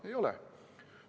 Ei ole.